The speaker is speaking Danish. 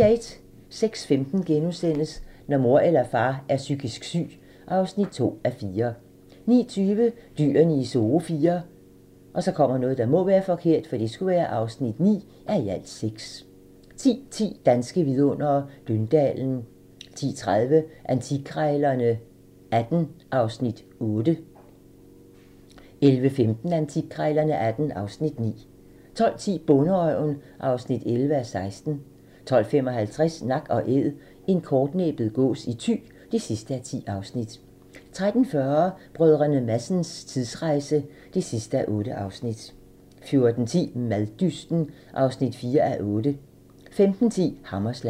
06:15: Når mor eller far er psykisk syg (2:4)* 09:20: Dyrene i Zoo IV (9:6) 10:10: Danske vidundere: Døndalen 10:30: Antikkrejlerne XVIII (Afs. 8) 11:15: Antikkrejlerne XVIII (Afs. 9) 12:10: Bonderøven (11:16) 12:55: Nak & Æd - en kortnæbbet gås i Thy (10:10) 13:40: Brdr. Madsens tidsrejse (8:8) 14:10: Maddysten (4:8) 15:10: Hammerslag